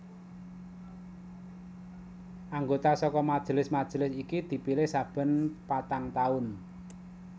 Anggota saka majelis majelis iki dipilih saben patang taun